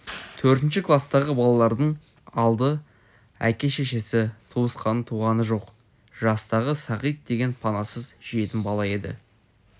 төртінші кластағы балалардың алды әке-шешесі туысқан-туғаны жоқ жастағы сағит деген панасыз жетім бала еді